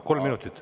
Kolm minutit.